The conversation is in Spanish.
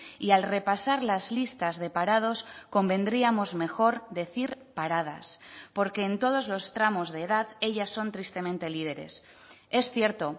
y al repasar las listas de parados convendríamos mejor decir paradas porque en todos los tramos de edad ellas son tristemente líderes es cierto